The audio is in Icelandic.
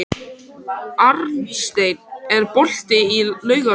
Arnsteinn, er bolti á laugardaginn?